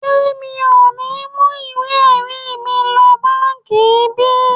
Ṣé mi ò ní mú ìwé ẹ̀rí mi lọ báǹkì yìí bí?